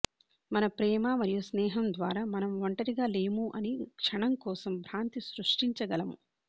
మన ప్రేమ మరియు స్నేహం ద్వారా మనం ఒంటరిగా లేము అని క్షణం కోసం భ్రాంతి సృష్టించగలము